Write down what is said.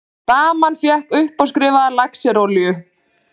Daman fékk uppáskrifaða laxerolíu.